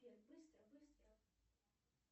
сбер быстро быстро